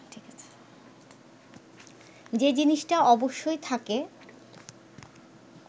যে জিনিসটা অবশ্যই থাকে